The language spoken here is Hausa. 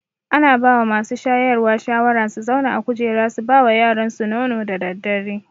Ana bawa masu shayarwa shawara su zauna a kujera su bawa yaransu nono da daddare